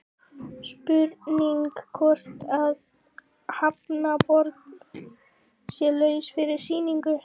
Spurning hvort að Hafnarborg sé laus fyrir sýningu?